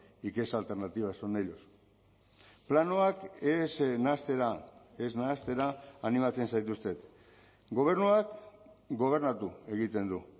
y que esa alternativa son ellos planoak ez nahastera ez nahastera animatzen zaituztet gobernuak gobernatu egiten du